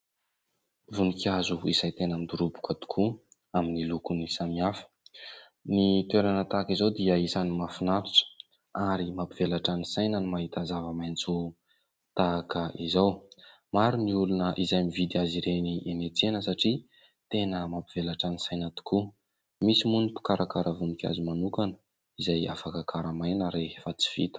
Voninkazo izay tena midoroboka tokoa amin'ny lokony samihafa. Ny toerana tahaka izao dia isany mahafinaritra ary mampivelatra ny saina ny mahita zava-maitso tahaka izao. Maro ny olona izay mividy azy ireny eny an-tsena satria tena mampivelatra ny saina tokoa. Misy moa ny mpikarakara voninkazo manokana izay afaka karamaina rehefa tsy vita.